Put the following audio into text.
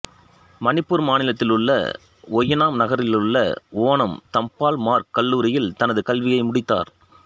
மணிப்பூர் மாநிலத்திலுள்ள ஓயினாம் நகரிலுள்ள ஓனம் தம்பல் மார்க் கல்லூரியில் தனது கல்வியை முடித்தார்